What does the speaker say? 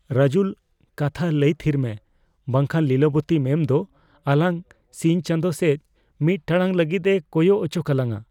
ᱨᱟᱡᱩᱞ! ᱠᱟᱛᱷᱟ ᱞᱟᱹᱭ ᱛᱷᱤᱨ ᱢᱮ, ᱵᱟᱝ ᱠᱷᱟᱱ ᱞᱤᱞᱚᱵᱚᱛᱤ ᱢᱮᱢ ᱫᱚ ᱟᱞᱟᱝ ᱥᱤᱧ ᱪᱟᱸᱫᱚ ᱥᱮᱡ ᱢᱤᱫ ᱴᱟᱲᱟᱝ ᱞᱟᱹᱜᱤᱫᱼᱮ ᱠᱚᱭᱚᱜ ᱚᱪᱚᱠᱟᱞᱟᱧᱟ ᱾